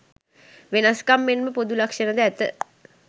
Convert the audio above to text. වෙනස්කම් මෙන්ම පොදු ලක්‍ෂණ ද ඇත.